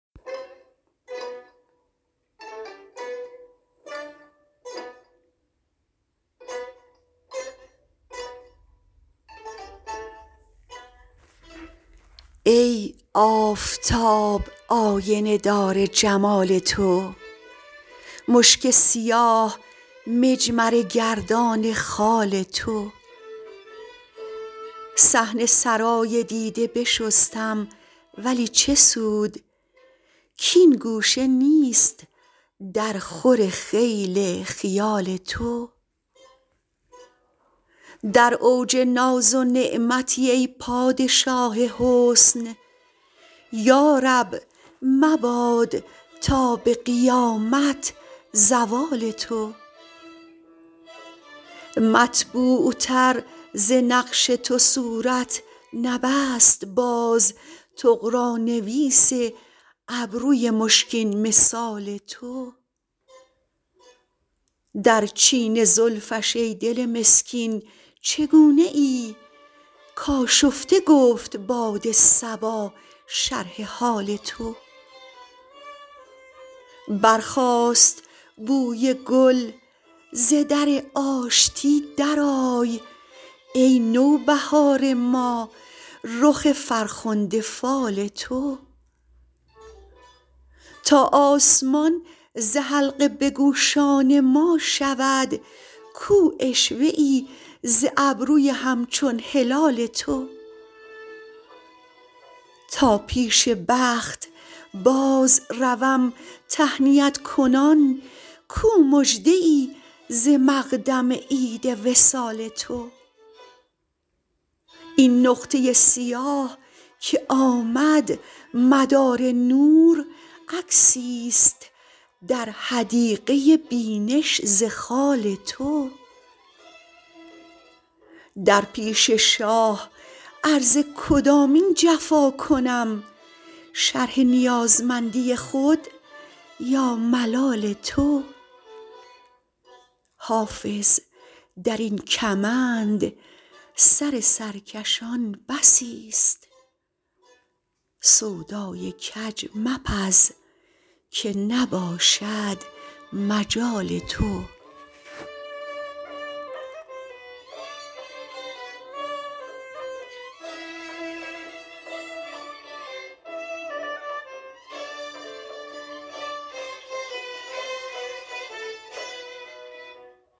ای آفتاب آینه دار جمال تو مشک سیاه مجمره گردان خال تو صحن سرای دیده بشستم ولی چه سود کـ این گوشه نیست درخور خیل خیال تو در اوج ناز و نعمتی ای پادشاه حسن یا رب مباد تا به قیامت زوال تو مطبوعتر ز نقش تو صورت نبست باز طغرانویس ابروی مشکین مثال تو در چین زلفش ای دل مسکین چگونه ای کآشفته گفت باد صبا شرح حال تو برخاست بوی گل ز در آشتی درآی ای نوبهار ما رخ فرخنده فال تو تا آسمان ز حلقه به گوشان ما شود کو عشوه ای ز ابروی همچون هلال تو تا پیش بخت بازروم تهنیت کنان کو مژده ای ز مقدم عید وصال تو این نقطه سیاه که آمد مدار نور عکسیست در حدیقه بینش ز خال تو در پیش شاه عرض کدامین جفا کنم شرح نیازمندی خود یا ملال تو حافظ در این کمند سر سرکشان بسیست سودای کج مپز که نباشد مجال تو